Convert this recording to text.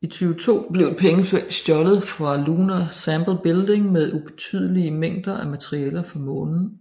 I 2002 blev et pengeskab stjålet fra Lunar Sample Building med ubetydelige mængder af materialer fra Månen